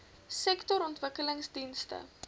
sektorontwikkelingdienste